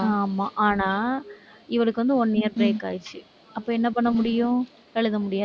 ஆமா. ஆனா, இவளுக்கு வந்து one year break ஆயிருச்சு. அப்ப என்ன பண்ண முடியும்? எழுத முடியாது.